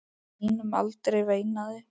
Á þínum aldri, veinaði